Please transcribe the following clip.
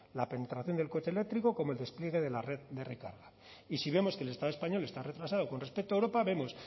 la penetración del coche eléctrico como el despliegue de la red de recarga y si vemos que el estado español está retrasado con respecto a europa vemos